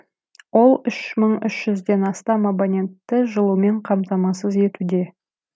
ол үш мың үш жүзден астам абонентті жылумен қамтамасыз етуде